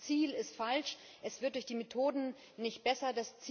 Dieses Ziel ist falsch, und es wird durch die Methoden nicht besser.